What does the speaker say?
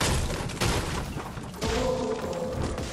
дрона куркова